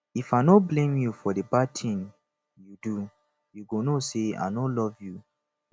if i no blame you for di bad ting you do you go know say i no love you